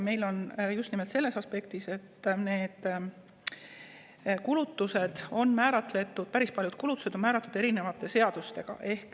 Meil on päris paljud kulutused määratud erinevate seadustega.